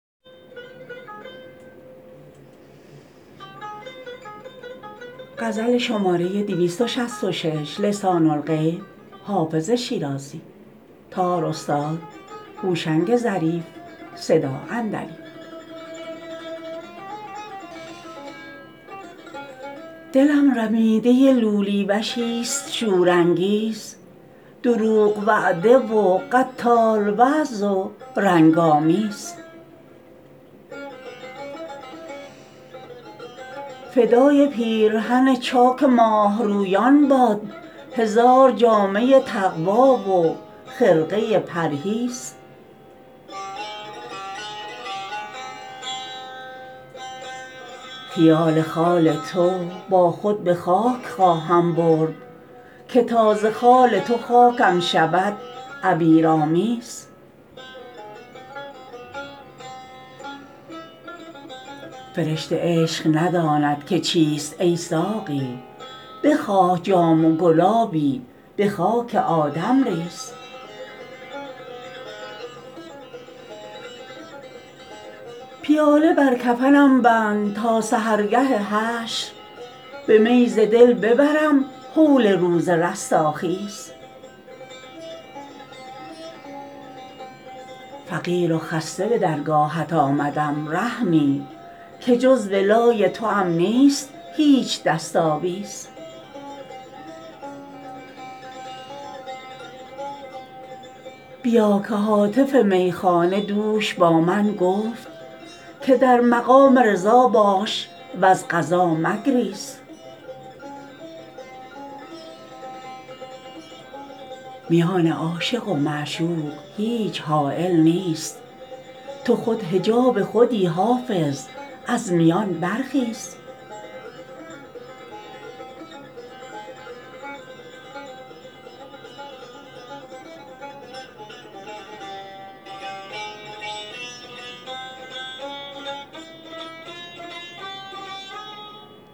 دلم رمیده لولی وشیست شورانگیز دروغ وعده و قتال وضع و رنگ آمیز فدای پیرهن چاک ماهرویان باد هزار جامه تقوی و خرقه پرهیز خیال خال تو با خود به خاک خواهم برد که تا ز خال تو خاکم شود عبیرآمیز فرشته عشق نداند که چیست ای ساقی بخواه جام و گلابی به خاک آدم ریز پیاله بر کفنم بند تا سحرگه حشر به می ز دل ببرم هول روز رستاخیز فقیر و خسته به درگاهت آمدم رحمی که جز ولای توام نیست هیچ دست آویز بیا که هاتف میخانه دوش با من گفت که در مقام رضا باش و از قضا مگریز میان عاشق و معشوق هیچ حایل نیست تو خود حجاب خودی حافظ از میان برخیز